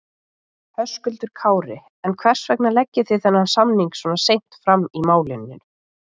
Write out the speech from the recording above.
Höskuldur Kári: En hvers vegna leggið þið þennan samning svona seint fram í málinu?